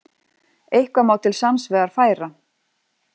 Eitthvað má til sanns vegar færa